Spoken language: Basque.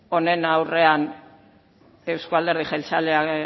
honen aurrean euzko alderdi jeltzaleak